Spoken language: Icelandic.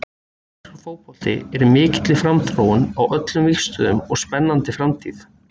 Íslenskur fótbolti í mikilli framþróun á öllum vígstöðvum og spennandi framtíð.